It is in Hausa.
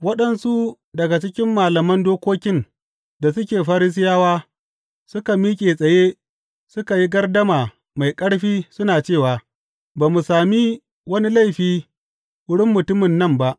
Waɗansu daga cikin malaman dokokin da suke Farisiyawa suka miƙe tsaye suka yi gardama mai ƙarfi suna cewa, Ba mu sami wani laifi a wurin mutumin nan ba.